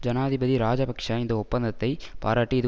ஜனாதிபதி ராஜபக்ச இந்த ஒப்பந்தத்தை பாராட்டி இது